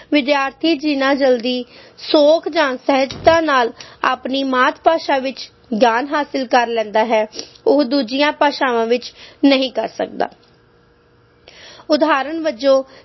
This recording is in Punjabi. ਵਿਦਿਆਰਥੀ ਜਿੰਨਾ ਜਲਦੀ, ਸੌਖ ਜਾਂ ਸਹਿਜਤਾ ਨਾਲ ਆਪਣੀ ਮਾਤ ਭਾਸ਼ਾ ਵਿੱਚ ਗਿਆਨ ਹਾਸਿਲ ਕਰ ਲੈਂਦਾ ਹੈ ਉਹ ਦੂਜੀਆਂ ਭਾਸ਼ਾਵਾਂ ਵਿਚ ਨਹੀਂ ਕਰ ਸਕਦਾ ਉਦਾਹਰਨ ਵਜੋਂ